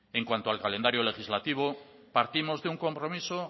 en cuanto al calendario legislativo partimos de un compromiso